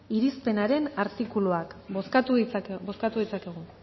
irizpenaren artikuluak bozkatu ditzakegu